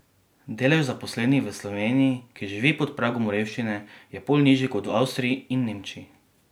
Delež zaposlenih v Sloveniji, ki živi pod pragom revščine, je pol nižji kot v Avstriji in Nemčiji!